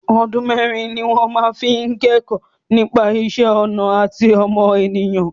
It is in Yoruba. Ọdún mẹ́ẹ́rin ni wọn fi máa ń kẹ́kọ̀ọ́ nípa ìṣẹ́ ọnà àti ọmọnìyàn